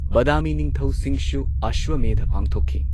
ꯕꯥꯗꯥꯃꯤ ꯅꯤꯡꯊꯧꯁꯤꯡꯁꯨ ꯑꯁ꯭ꯋꯥꯃꯦꯙ ꯄꯥꯡꯊꯣꯛꯈꯤ꯫